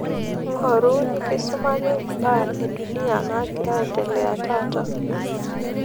ngoru nikisumaki baa edunia naagira aendelea taata